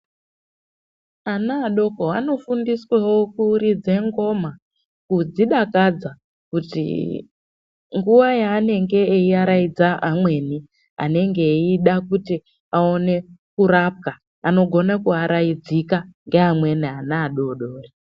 Ana adoko anofundiswawo kuridza ngoma kuzvidakadza kuti nguwa yanenge eiaraidza amweni anenge eida kuti aonekwe kurapwa anogona kuvaraudzika nevana vadodori.